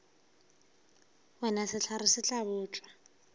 wena sehlare se tla botšwa